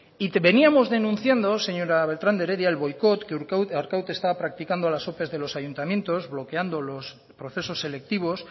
y veníamos denunciando señora beltrán de heredia el boicot que arkaute está practicando a las ope de los ayuntamientos bloqueando los procesos selectivos